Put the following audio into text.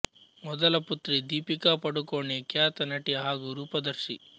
ಮೊದಲ ಪುತ್ರಿ ದೀಪಿಕಾ ಪಡುಕೋಣೆ ಖ್ಯಾತ ನಟಿ ಹಾಗು ರೂಪದರ್ಶಿ